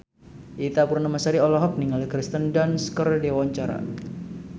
Ita Purnamasari olohok ningali Kirsten Dunst keur diwawancara